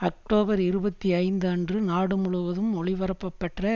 October இருபத்தி ஐந்து அன்று நாடு முழுவதும் ஒளிபரப்பப்பெற்ற